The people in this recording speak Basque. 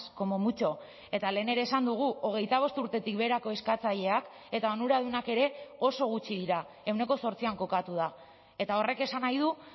como mucho eta lehen ere esan dugu hogeita bost urtetik beherako eskatzaileak eta onuradunak ere oso gutxi dira ehuneko zortzian kokatu da eta horrek esan nahi du